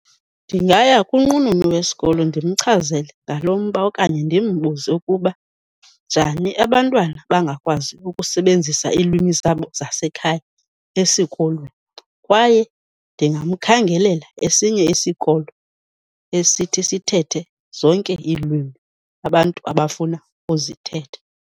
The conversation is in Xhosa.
Ndingaya kwinqununu yesikolo ndimchazele ngalo mba okanye ndimbuze ukuba njani abantwana bangakwazi ukusebenzisa iilwimi zabo zasekhaya esikolweni kwaye ndingamkhangelela esinye isikolo esithi sithethe zonke iilwimi abantu abafuna ukuzithetha.